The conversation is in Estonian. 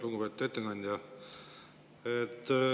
Lugupeetud ettekandja!